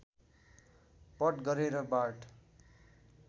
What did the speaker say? पट गरेर बार्ट